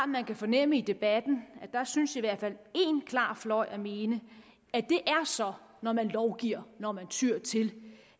man kan fornemme i debatten at der synes i hvert fald én klar fløj at mene at det så er når man lovgiver når man tyer til